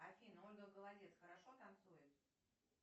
афина ольга голодец хорошо танцует